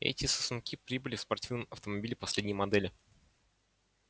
эти сосунки прибыли в спортивном автомобиле последней модели